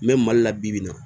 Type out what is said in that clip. N bɛ mali la bibi in na